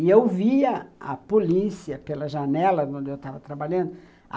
E eu via a polícia pela janela onde eu estava trabalhando.